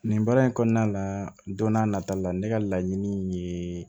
Nin baara in kɔnɔna la don n'a nataw la ne ka laɲini ye